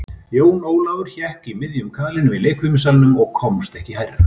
Jón Ólafur hékk í miðjum kaðlinum í leikfimissalnum og komst ekki hærra.